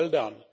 Well done.